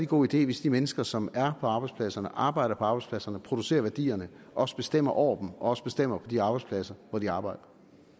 god idé hvis de mennesker som er på arbejdspladserne arbejder på arbejdspladserne producerer værdierne også bestemmer over dem og også bestemmer på de arbejdspladser hvor de arbejder